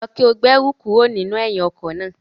Lọ ki o si gbe ẹru kuro ninu ẹhin ọkọ naa!